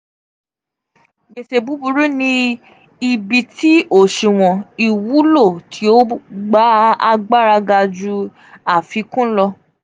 gbese buburu ni ibi ti oṣuwọn iwulo ti o gba agbara ga ju afikun lọ.